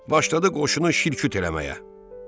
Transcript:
Başladı qoşunu şil-küt eləməyə.